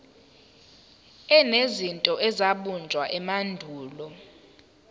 enezinto ezabunjwa emandulo